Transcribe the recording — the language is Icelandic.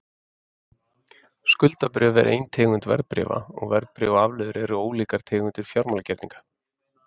Skuldabréf er ein tegund verðbréfa, og verðbréf og afleiður eru ólíkar tegundir fjármálagerninga.